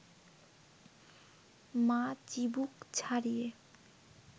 মা চিবুক ছাড়িয়ে